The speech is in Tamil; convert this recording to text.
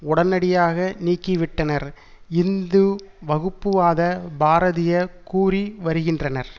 உடனடியாக நீக்கிவிட்டனர் இந்து வகுப்புவாத பாரதிய கூறிவருகின்றனர்